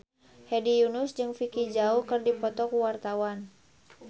Hedi Yunus jeung Vicki Zao keur dipoto ku wartawan